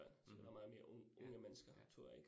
Mh. Ja, ja